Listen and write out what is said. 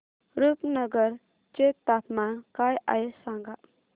रुपनगर चे तापमान काय आहे सांगा